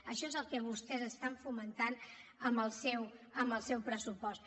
això és el que vostès estan fomentant amb el seu pressupost